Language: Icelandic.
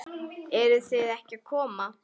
Eruð þið ekki að koma?